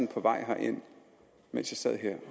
på vej herind og mens jeg sad her